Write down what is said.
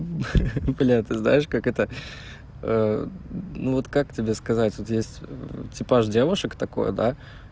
бля ты знаешь как это ну вот как тебе сказать вот есть типаж девушек такой да